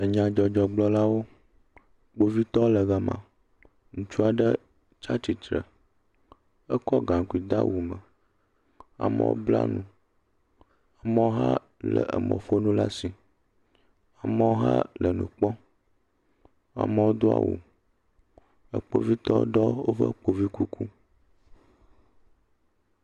Enyadzɔdzɔgblɔlawo. Kpovitɔ le ga ma. Ŋutsu aɖe tsi atistre ekɔ gaŋkui de awu me. Amewo bla nu. Amewo hã le emɔƒonu ɖe asi, amewo hã le enu kpɔm. Amewo do awu. Ekpovitɔ aɖewo woɖɔ ekpovi kuku.